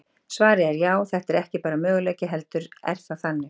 Svarið er já, þetta er ekki bara möguleiki, heldur er það þannig!